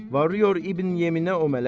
Varıyor İbn Yeminə o mələk.